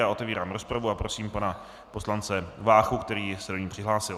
Já otevírám rozpravu a prosím pana poslance Váchu, který se do ní přihlásil.